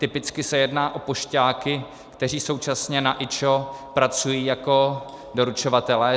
Typicky se jedná o pošťáky, kteří současně na IČO pracují jako doručovatelé.